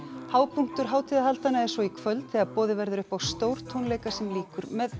hápunktur hátíðarhaldanna er svo í kvöld þegar boðið verður upp á stórtónleika sem lýkur með